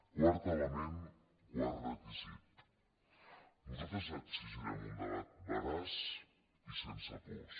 quart element quart requisit nosaltres exigirem un debat veraç i sense pors